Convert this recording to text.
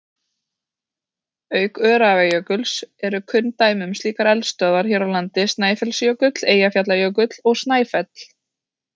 Auk Öræfajökuls eru kunn dæmi um slíkar eldstöðvar hér á landi Snæfellsjökull, Eyjafjallajökull og Snæfell.